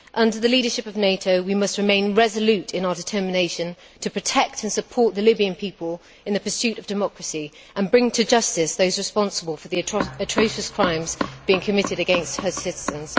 Under the leadership of NATO we must remain resolute in our determination to protect and support the Libyan people in the pursuit of democracy and bring to justice those responsible for the atrocious crimes being committed against her citizens.